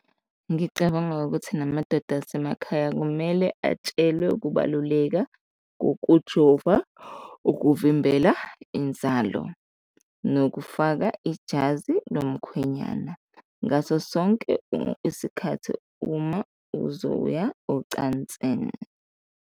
Ngicabanga ukuthi namadoda asemakhaya kumele atshelwe ukubaluleka ngokujova, ukuvimbela inzalo nokufaka ijazi lomkhwenyana ngaso sonke isikhathi uma uzoya ocansini.